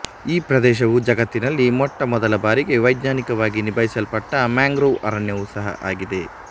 ಈ ಪ್ರದೇಶವು ಜಗತ್ತಿನಲ್ಲಿ ಮೊಟ್ಟಮೊದಲ ಬಾರಿಗೆ ವೈಜ್ಞಾನಿಕವಾಗಿ ನಿಭಾಯಿಸಲ್ಪಟ್ಟ ಮ್ಯಾಂಗ್ರೋವ್ ಅರಣ್ಯವು ಸಹ ಆಗಿದೆ